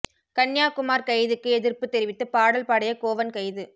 கன்யா குமார் கைதுக்கு எதிர்ப்பு தெரிவித்து பாடல் பாடிய கோவன் கைது